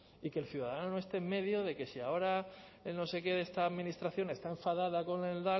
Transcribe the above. y que el ciudadano esté en medio de que si ahora no sé qué de esta administración está enfadada con el